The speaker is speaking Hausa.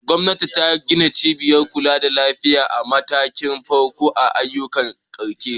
Gwamnati ta gina cibiyar kula da lafiya a matakin farko a yankunan karkara.